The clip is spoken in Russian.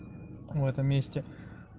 в этом месте